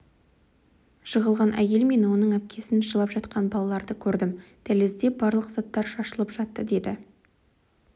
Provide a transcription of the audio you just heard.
жығылған әйел мен оның әпкесін жылап жатқан балаларды көрдім дәлізде барлық заттар шашылып жатты деді